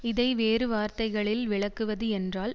இதை வேறுவார்த்தைகளில் விளக்குவது என்றால்